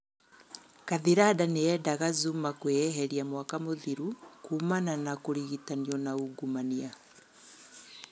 Kathiranda nĩ endaga Zuma kwĩeheria mwaka mũthiru kuumana na kũgirititganio na ungumania.